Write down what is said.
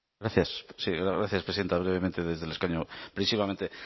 gracias sí gracias presidenta brevemente desde el escaño brevísimamente